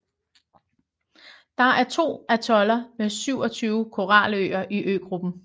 Der er to atoller med 27 koraløer i øgruppen